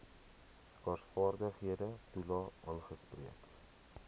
skaarsvaardighede toelae aangespreek